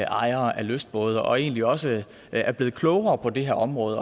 ejere af lystbåde og egentlig også er blevet klogere på det her område